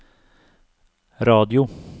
radio